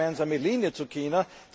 Was ist die gemeinsame Linie zu China?